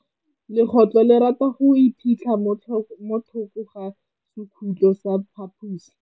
Legôtlô le rata go iphitlha mo thokô ga sekhutlo sa phaposi.